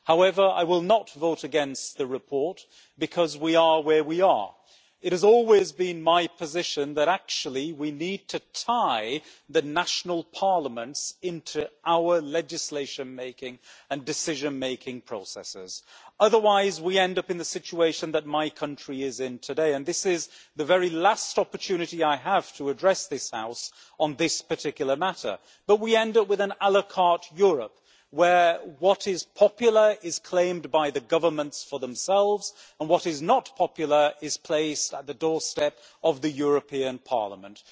However, I will not vote against the report, because we are where we are. It has always been my position that we actually need to tie the national parliaments into our legislation making and decision making processes, otherwise we end up in the situation that my country is in today. This is the very last opportunity I have to address this House on this particular matter, but we end up with an la carte' Europe, where what is popular is claimed by the governments for themselves, and what is not popular is placed at the doorstep of the European Parliament.